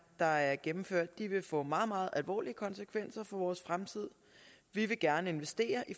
der er gennemført vil få meget meget alvorlige konsekvenser for vores fremtid vi vil gerne investere i